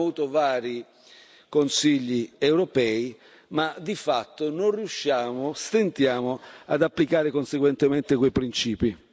Abbiamo avuto vari Consigli europei, ma di fatto non riusciamo, stentiamo ad applicare conseguentemente quei principi.